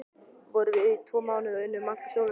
Við vorum þar í tvo mánuði og unnum allan sólarhringinn.